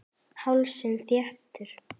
Hálsinn þéttur.